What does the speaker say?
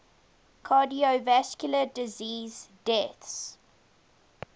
cardiovascular disease deaths